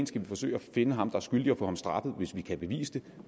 skal forsøge at finde ham er skyldig og få ham straffet hvis vi kan bevise det